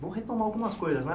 Vou retomar algumas coisas, né?